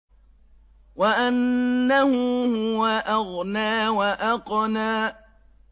وَأَنَّهُ هُوَ أَغْنَىٰ وَأَقْنَىٰ